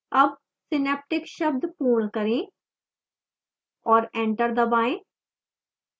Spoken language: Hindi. अब synaptic शब्द पूर्ण करें और एंटर दबाएं